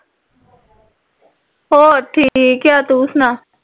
ਹੋਰ ਠੀਕ ਹੈ ਤੂੰ ਸੁਣਾ